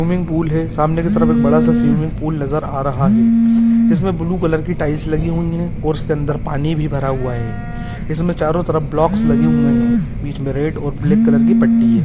Swimming pool है सामने की तरफ एक बड़ा सा स्विमिंग पूल नजर आ रहा है इसमे ब्लू कलर की टाइल्स लगी हुई है और उसके अंदर पानी भी भरा हुआ है इस में चारो तरफ ब्लोक्स लगे हुए है बीच में रेड और ब्लैक कलर की पट्टी है।